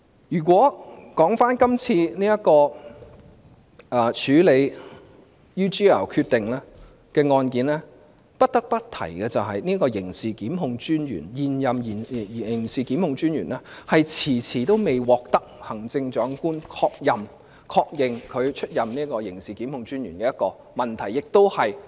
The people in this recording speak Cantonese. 說回今次處理 UGL 案件的決定，不得不提的是最近發現的一個問題，現任刑事檢控專員遲遲未獲得行政長官確任，即確認出任刑事檢控專員。